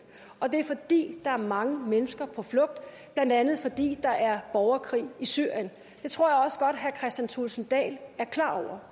og det er fordi der er mange mennesker på flugt blandt andet fordi der er borgerkrig i syrien det tror jeg også godt herre kristian thulesen dahl er klar over